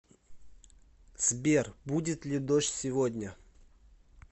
сбер будет ли дождь сегодня